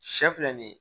Sɛ filɛ nin ye